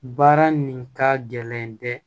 Baara nin ka gɛlɛn dɛ